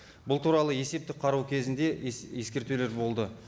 бұл туралы есептік қарау кезінде ескертулер болды